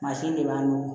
Mansin de b'an nugu